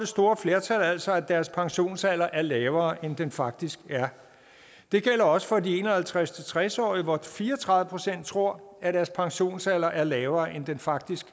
store flertal altså at deres pensionsalder er lavere end den faktisk er det gælder også for de en og halvtreds til tres årige hvor fire og tredive procent tror at deres pensionsalder er lavere end den faktisk